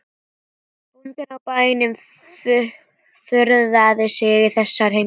Bóndinn á bænum furðaði sig á þessari heimsókn.